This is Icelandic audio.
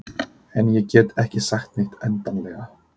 En ég get ekki sagt neitt endanlega.